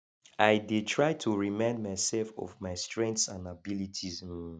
i dey try to remind myself of my strengths and abilities um